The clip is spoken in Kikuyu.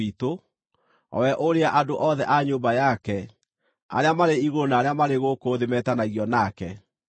o we ũrĩa andũ othe a nyũmba yake, arĩa marĩ igũrũ na arĩa marĩ gũkũ thĩ metanagio nake.